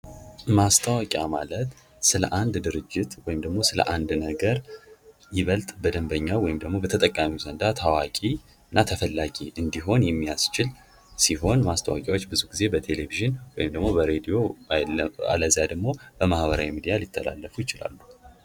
ማስታወቂያ ማለት ስለአንድ ድርጅት ወይም ደግሞ ስለ አንድ ነገር ይበልጥ በደምበኛ ወይም ደግሞ በተጠቃሚ ሀንድ ታዋቂ እና እና ተፈላጊ እንዲሆን የሚያስችል ሲሆን ማስታወቂያዎች ብዙ ጊዜ በቴሌቪዥን ወይም ደግሞ በሬድዮ ዓለም በማህበራዊ ሚዲያ ሊተላለፉ ይችላሉ።